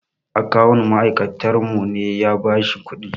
Akawun ma'aikatarmu ne ya ba shi kuɗin.